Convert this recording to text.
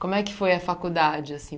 Como é que foi a faculdade, assim?